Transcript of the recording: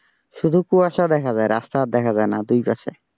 শুধু কুয়াশা দেখা যায় রাস্তা আর দেখা যায় না দুই পাশে।